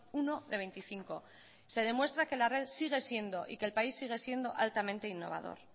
uno de hogeita bost se demuestra que la red sigue siendo y que el país sigue siendo altamente innovador